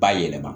Ba yɛlɛma